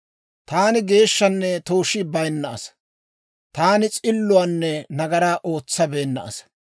‹Taani geeshshanne tooshii bayinna asaa; taani s'illuwaanne nagaraa ootsabeenna asaa.